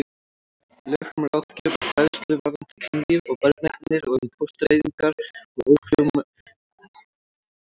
Lög um ráðgjöf og fræðslu varðandi kynlíf og barneignir og um fóstureyðingar og ófrjósemisaðgerðir.